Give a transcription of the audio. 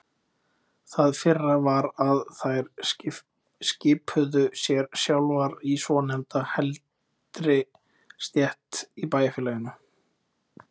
Það fyrra var að þær skipuðu sér sjálfar í svonefnda heldri stétt í bæjarfélaginu.